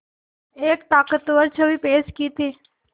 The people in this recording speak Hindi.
एक ताक़तवर छवि पेश की थी